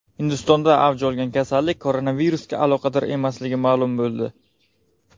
Hindistonda avj olgan kasallik koronavirusga aloqador emasligi ma’lum bo‘ldi.